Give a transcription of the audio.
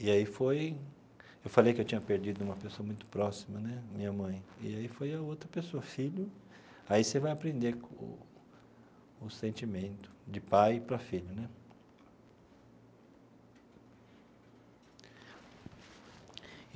E aí foi, eu falei que eu tinha perdido uma pessoa muito próxima né, minha mãe, e aí foi a outra pessoa, filho, aí você vai aprender o o sentimento de pai para filho né e.